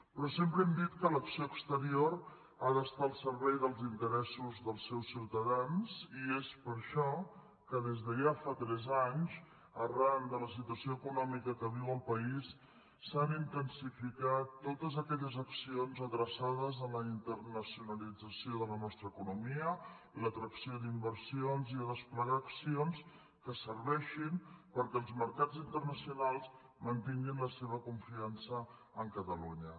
però sempre hem dit que l’acció exterior ha d’estar al servei dels interessos dels seus ciutadans i és per això que des de ja fa tres anys arran de la situació econòmica que viu el país s’han intensificat totes aquelles accions adreçades a la internacionalització de la nostra economia a l’atracció d’inversions i a desplegar accions que serveixin perquè els mercats internacionals mantinguin la seva confiança en catalunya